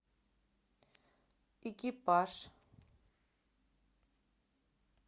экипаж